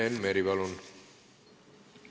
Enn Meri, palun!